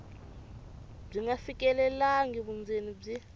byi nga fikelelangi vundzeni byi